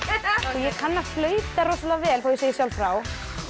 ég kann að flauta rosalega vel þó ég segi sjálf frá